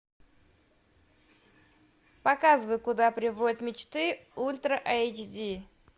показывай куда приводят мечты ультра эйч ди